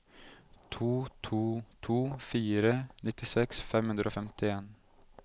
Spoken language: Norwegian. to to to fire nittiseks fem hundre og femtien